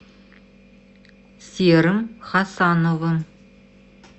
серым хасановым